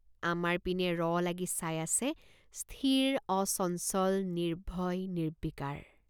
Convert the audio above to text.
আমাৰ পিনে ৰ লাগি চাই আছেস্থিৰ অচঞ্চল নিৰ্ভয় নিৰ্বিকাৰ।